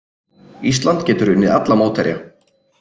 Ísland getur unnið alla mótherja